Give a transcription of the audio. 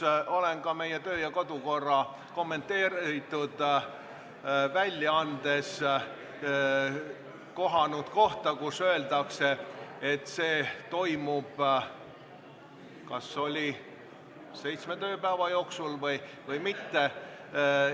Ma olen ka meie kodu- ja töökorra kommenteeritud väljaandes kohanud kohta, kus öeldakse, et see toimub seitsme tööpäeva jooksul – oli vist nii?